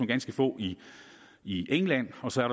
ganske få i i england og så er